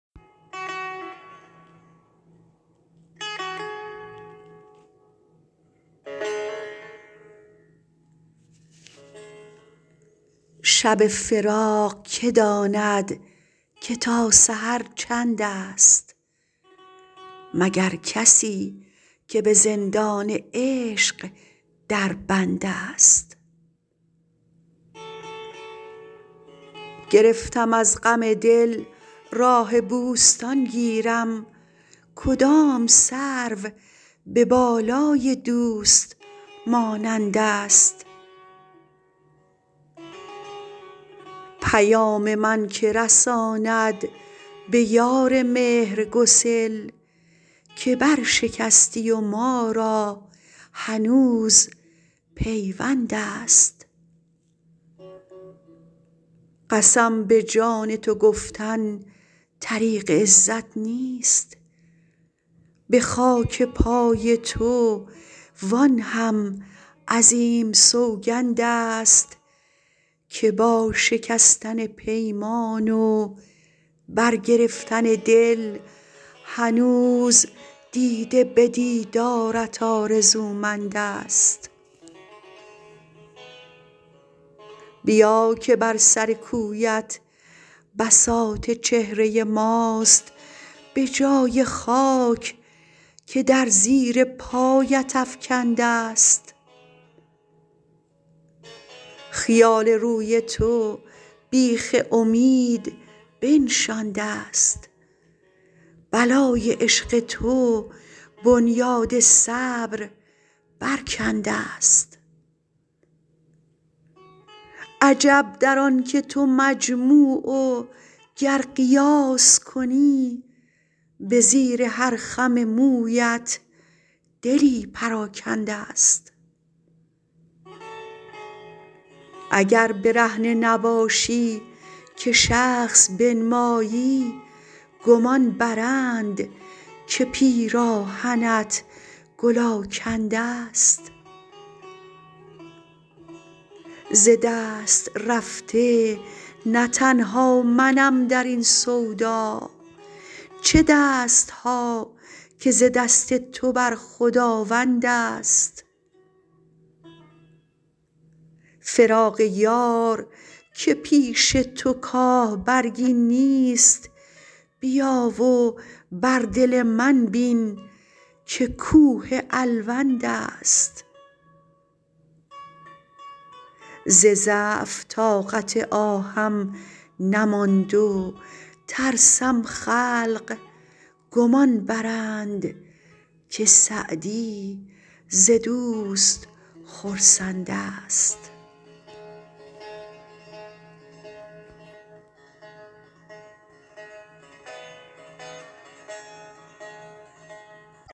شب فراق که داند که تا سحر چندست مگر کسی که به زندان عشق در بندست گرفتم از غم دل راه بوستان گیرم کدام سرو به بالای دوست مانندست پیام من که رساند به یار مهرگسل که برشکستی و ما را هنوز پیوندست قسم به جان تو گفتن طریق عزت نیست به خاک پای تو وآن هم عظیم سوگندست که با شکستن پیمان و برگرفتن دل هنوز دیده به دیدارت آرزومندست بیا که بر سر کویت بساط چهره ماست به جای خاک که در زیر پایت افکندست خیال روی تو بیخ امید بنشاندست بلای عشق تو بنیاد صبر برکندست عجب در آن که تو مجموع و گر قیاس کنی به زیر هر خم مویت دلی پراکندست اگر برهنه نباشی که شخص بنمایی گمان برند که پیراهنت گل آکندست ز دست رفته نه تنها منم در این سودا چه دست ها که ز دست تو بر خداوندست فراق یار که پیش تو کاه برگی نیست بیا و بر دل من بین که کوه الوندست ز ضعف طاقت آهم نماند و ترسم خلق گمان برند که سعدی ز دوست خرسندست